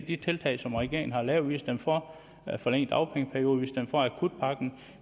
de tiltag som regeringen har lavet vi har stemt for at forlænge dagpengeperioden vi har stemt for akutpakken